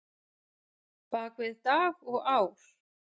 bak við dag og ár?